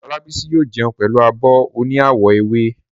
Olábísí yóò jẹun pẹ̀lú abọ́ oní àwọ̀ ewé